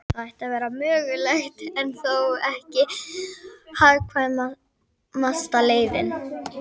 Það ætti að vera mögulegt, en þó ekki hagkvæmasta leiðin.